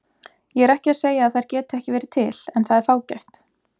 Ég er ekki að segja að þær geti ekki verið til en það er fágætt.